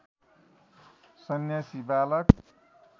संन्यासी बालक